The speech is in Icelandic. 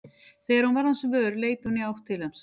Þegar hún varð hans vör leit hún í átt til hans.